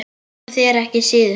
Og þér ekki síður